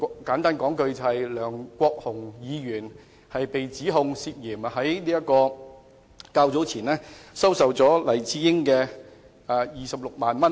簡單而言，就是梁國雄議員被指涉嫌在較早前收受黎智英26萬元。